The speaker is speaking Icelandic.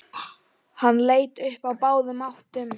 Ég efast ekki um að þetta sé satt, sagði Þórður.